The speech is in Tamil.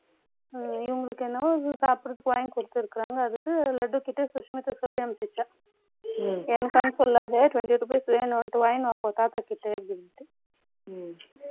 இவங்களுக்கு என்னவோ, சாப்பிடறதுக்கு வாங்கி கொடுத்திருக்காங்க. அதுக்கு, லட்டுகிட்ட சொல்லி அனுப்பிச்சுட்டேன் ம். எனக்கு வந்து சொல்லாத, twenty rupees வேணும், தாத்தாகிட்ட, அப்படின்ட்டு. ம். ம்